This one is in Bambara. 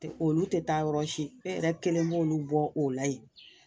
Olu tɛ taa yɔrɔsi, e yɛrɛ kelen mɔ olu bɔ o la yen